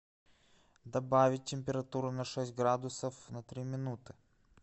добавить температуру на шесть градусов на три минуты